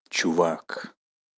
чувак